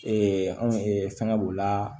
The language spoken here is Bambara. anw fɛngɛ b'o la